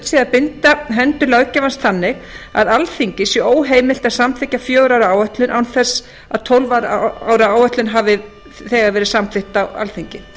sé að binda hendur löggjafans þannig að alþingi sé óheimilt að samþykkja fjögurra ára áætlun án þess að tólf ára áætlun hafi verið samþykkt á alþingi